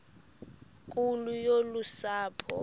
nkulu yolu sapho